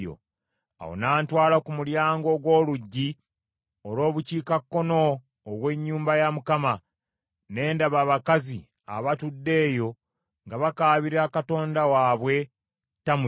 Awo n’antwala ku mulyango ogw’oluggi olw’Obukiikakkono ogw’ennyumba ya Mukama , ne ndaba abakazi abatudde eyo nga bakaabira katonda waabwe Tammuzi.